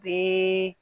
Bɛɛ